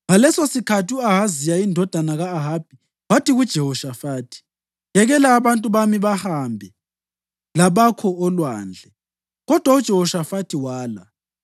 Ngalesosikhathi u-Ahaziya indodana ka-Ahabi wathi kuJehoshafathi, “Yekela abantu bami bahambe labakho olwandle,” kodwa uJehoshafathi wala.